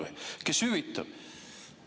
Kes kahju hüvitab?